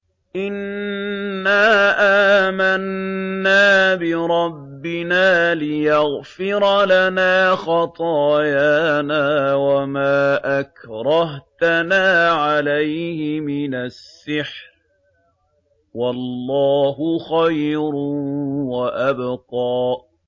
إِنَّا آمَنَّا بِرَبِّنَا لِيَغْفِرَ لَنَا خَطَايَانَا وَمَا أَكْرَهْتَنَا عَلَيْهِ مِنَ السِّحْرِ ۗ وَاللَّهُ خَيْرٌ وَأَبْقَىٰ